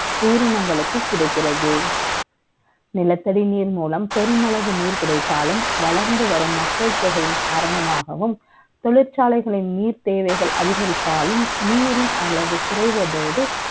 உயிரினங்களுக்கு கிடைக்கிறது நிலத்தடி நீர்மூலம் பெருமளவில் நீர் கிடைத்தாலும் வளர்ந்து வரும் மக்கள் தொகை காரணமாகவும் தொழிற்சாலை நீர் தேவை அதிகரிப்பினாலும்நீரின் அளவு குறைவதோடு உயிரினங்களுக்கு கிடைக்கிறது